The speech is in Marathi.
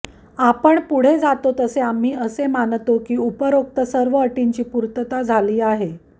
आपण पुढे जातो तसे आम्ही असे मानतो की उपरोक्त सर्व अटींची पूर्तता झाली आहे